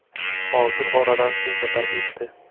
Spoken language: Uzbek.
Hozir oradan shuncha payt o‘tdi.